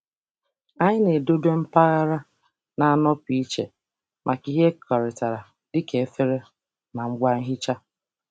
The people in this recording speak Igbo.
Anyị na-edobe mpaghara na-anọpụ iche maka ihe ekekọrịtara dịka efere na ngwa nhicha.